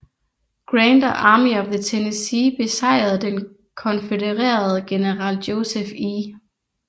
Grant og Army of the Tennessee besejrede den konfødererede general Joseph E